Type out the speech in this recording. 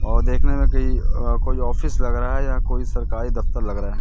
और देखने में कि अह कोई ऑफिस लग रहा है या कोई सरकारी दफ्तर लग रहा है।